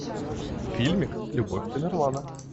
фильмик любовь тамерлана